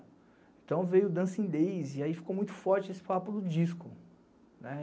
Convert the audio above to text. Então veio o Dancing Days e aí ficou muito forte esse papo do disco.